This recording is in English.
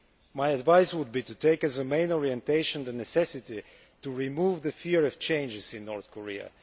My advice would be to take as the main orientation the necessity to remove the fear of change in North Korea.